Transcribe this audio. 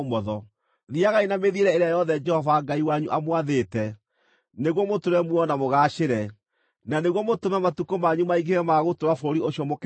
Thiiagai na mĩthiĩre ĩrĩa yothe Jehova Ngai wanyu amwathĩte, nĩguo mũtũũre muoyo na mũgaacĩre, na nĩguo mũtũme matukũ manyu maingĩhe ma gũtũũra bũrũri ũcio mũkegwatĩra.